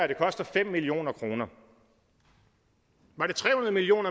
vil koste fem million kroner var det tre hundrede million